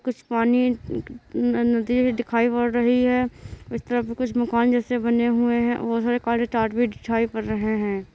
कुछ पानी न-नदी भी दिखाई पड़ रही है इस तरफ कुछ मकान जैसे बने हुए है बहुत सारे काले तार भी दिखाई पर रहे है।